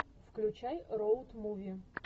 включай роуд муви